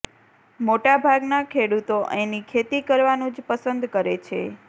મોટાભાગના ખેડૂતો એની ખેતી કરવાનું જ પસંદ કરે છે